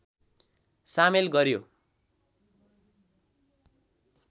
सामेल गर्‍यो